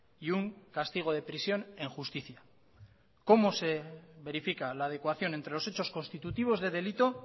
y un castigo de prisión en justicia cómo se verifica la adecuación entre los hechos constitutivos de delito